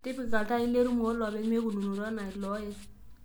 tipika iltaai lerumu olopeny meikununoto enaa ilooye